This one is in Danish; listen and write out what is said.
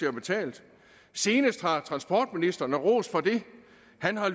er betalt senest har transportministeren og ros for det